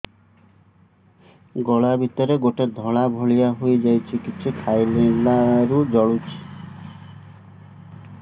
ଗଳା ଭିତରେ ଗୋଟେ ଧଳା ଭଳିଆ ହେଇ ଯାଇଛି କିଛି ଖାଇଲାରୁ ଜଳୁଛି